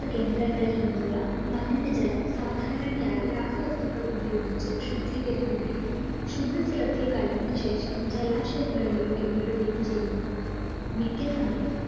കേന്ദ്രങ്ങളിൽ നിന്നുള്ള മലിനജലം സാധാരണയായി രാസവസ്തുക്കൾ ഉപയോഗിച്ച് ശുദ്ധീകരിക്കുകയും ശുദ്ധജലത്തിൽ കലർന്ന ശേഷം ജലാശയങ്ങളിലേക്ക് വിടുകയും ചെയുന്നു മിക്ക സമയത്തും